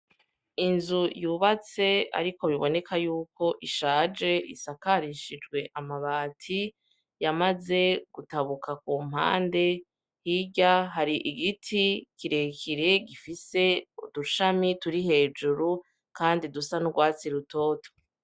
Inzu yubatse ariko biboneka yuko ishaje isakarishijwe amabati yamaze gutabuka ku mpande, hirya hari igiti kirekire gifise udushami turi hejuru kandi dusa n'urwatsi rutoto.